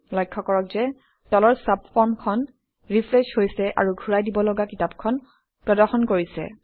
লক্ষ্য কৰক যে তলৰ চাবফৰ্মখন ৰিফ্ৰেছ হৈছে আৰু ঘূৰাই দিবলগা কিতাপখন প্ৰদৰ্শন কৰিছে